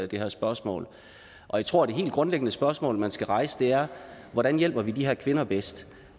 det her spørgsmål jeg tror at det helt grundlæggende spørgsmål man skal stille er hvordan hjælper vi de her kvinder bedst